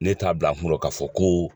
Ne t'a bila kungo k'a fɔ ko